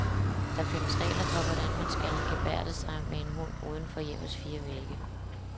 Der findes regler for, hvordan man skal gebærde sig med en hund uden for hjemmets fire vægge.